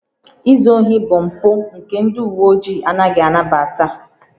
Izu ohi bụ mpụ nke ndị uwe ojii anaghị anabata